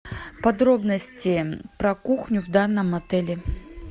подробности про кухню в данном отеле